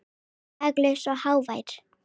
Laglaus og hávær.